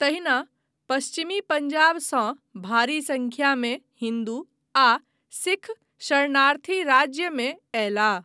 तहिना पश्चिम पंजाबसँ भारी संख्यामे हिन्दू आ सिख शरणार्थी राज्यमे अयलाह।